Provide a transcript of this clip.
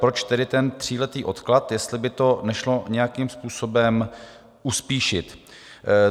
Proč tedy ten tříletý odklad - jestli by to nešlo nějakým způsobem uspíšit?